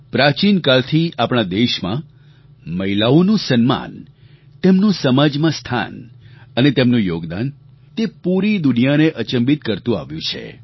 પ્રાચીન કાળથી આપણા દેશમાં મહિલાઓનું સન્માન તેમનું સમાજમાં સ્થાન અને તેમનું યોગદાન તે પૂરી દુનિયાને અચંબિત કરતું આવ્યું છે